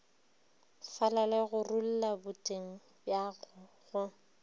falale gorulla boteng bjago go